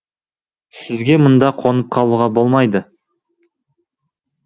ал сізге мұнда қонып қалуға болмайды